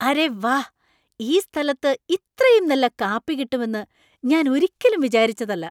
അരെ വാ ! ഈ സ്ഥലത്ത് ഇത്രയും നല്ല കാപ്പി കിട്ടുമെന്ന് ഞാൻ ഒരിക്കലും വിചാരിച്ചതല്ല .